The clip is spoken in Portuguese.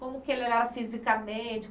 Como é que ele era fisicamente?